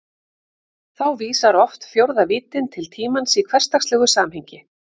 Þá vísar oft fjórða víddin til tímans í hversdagslegu samhengi.